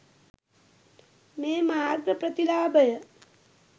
මේ මාර්ග ප්‍රතිලාභය